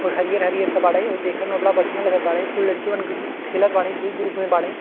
हरियर हरियर के बाड़े आउ देखे में बहुत बढियाँ लागत बाड़े कुल लड़कीवन के खेलत बाड़े दू ग्रुप में बाड़े।